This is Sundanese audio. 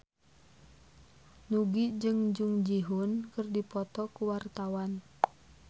Nugie jeung Jung Ji Hoon keur dipoto ku wartawan